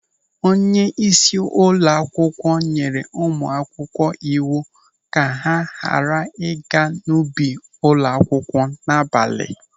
Onyeisi ụlọ akwụkwọ nyere ụmụ akwụkwọ iwu ka ha ghara ịga n'ubi ụlọ akwụkwọ n'abalị.